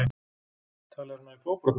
Talið er að hann hafi fótbrotnað